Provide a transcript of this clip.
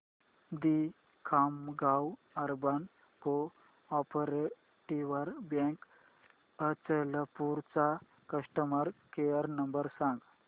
दि Khamgaon urban cooperative bank Achalpur चा customer care number सांग